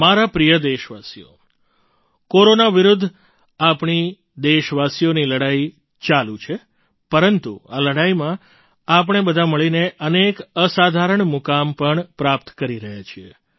મારા પ્રિય દેશવાસીઓ કોરોના વિરુદ્ધ આપણી દેશવાસીઓની લડાઈ ચાલુ છે પરંતુ આ લડાઈમાં આપણે બધા મળીને અનેક અસાધારણ મુકામ પણ પ્રાપ્ત કરી રહ્યા છીએ